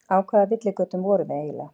Á hvaða villigötum vorum við eiginlega?